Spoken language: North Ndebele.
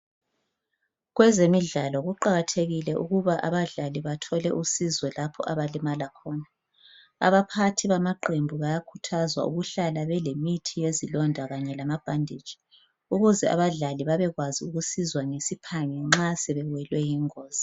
Kwezemidlalo kuqakathekile ukuba abadlali bathole usiso lapho abalimala khona, abaphathi bamaqembu bayakhuthazwa ukuhlala lemithi yezilonda kanye lamabhanditshi ukuze abadlali babe kwazi ukusizwa ngesiphangi nxa sebewelwe yingozi.